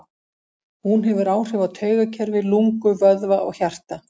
Hún hefur áhrif á taugakerfi, lungu, vöðva og hjarta.